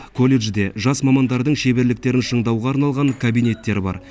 колледжде жас мамандардың шеберліктерін шыңдауға арналған кабинеттер бар